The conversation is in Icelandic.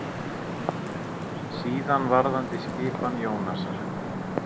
Síðan varðandi skipan Jónasar.